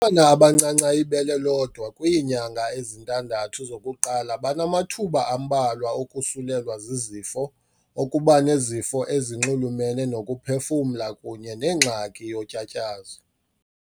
ntwana abancanca ibele lodwa kwiinyanga ezintandathu zokuqala banamathuba ambalwa okusulelwa zizifo, okuba nezifo ezinxulumene nokuphefumla kunye nengxaki yotyatyazo.